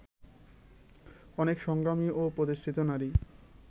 অনেক সংগ্রামী ও প্রতিষ্ঠিত নারী